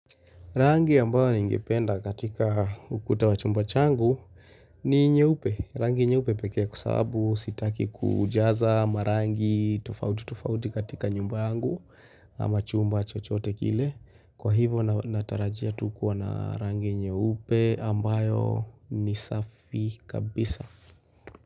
Rangi ambayo ningenda katika ukuta wa chumba changu ni nyeupe. Rangi nyeupe pekee kwa sababu sitaki kujaza marangi tofauti tofauti katika nyumba yangu ama chumba chochote kile. Kwa hivyo natarajia tu kuwa na rangi nyeupe ambayo ni safi kabisa.